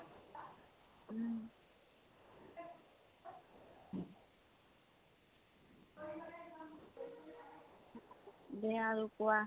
দে আৰু কোৱা।